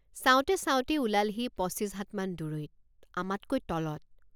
চাওঁতে চাওঁতেই ওলালহি পঁচিছ হাতমান দূৰৈত আমাতকৈ তলত।